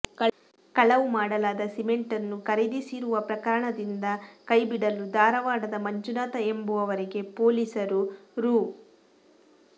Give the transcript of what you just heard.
ಕಳವು ಮಾಡಲಾದ ಸಿಮೆಂಟ್ ಅನ್ನು ಖರೀದಿಸಿರುವ ಪ್ರಕರಣದಿಂದ ಕೈಬಿಡಲು ಧಾರವಾಡದ ಮಂಜುನಾಥ ಎಂಬುವವರಿಗೆ ಪೊಲೀಸರು ರೂ